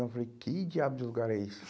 Eu falei, que diabo de lugar é esse?